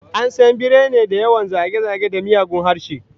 An san birane da yawan zage-zage da miyagun harshe